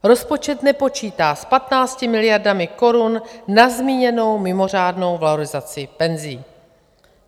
Rozpočet nepočítá s 15 miliardami korun na zmíněnou mimořádnou valorizaci penzí.